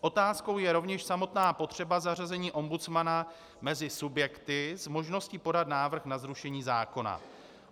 Otázkou je rovněž samotná potřeba zařazení ombudsmana mezi subjekty s možností podat návrh na zrušení zákona.